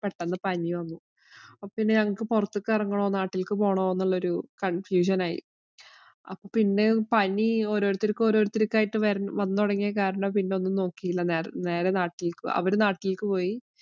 പെട്ടന്ന് പനി വന്നു. അപ്പൊ ഞങ്ങള്‍ക്ക് പൊറത്തിറങ്ങണോ, നാട്ടിലേക്ക് പോകണോ എന്നുള്ള ഒരു confusion ആയി അപ്പൊ പിന്നെ പനി ഒരോരുത്തര്‍ക്ക് ഒരോരുത്തര്‍ക്കായി വന്നു തുടങ്ങിയ കാരണം പിന്നെ ഒന്നും നോക്കിയില്ല. നേരെ നാട്ടിലേക്ക് അവര് നാട്ടിലേക്ക് പോയി.